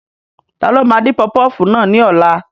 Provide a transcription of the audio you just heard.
Ta ló máa dín pọfupọ́ọ̀fù náà ní ọ̀la?